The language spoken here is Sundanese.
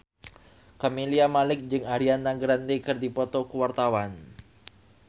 Camelia Malik jeung Ariana Grande keur dipoto ku wartawan